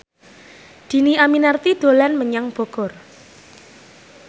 Dhini Aminarti dolan menyang Bogor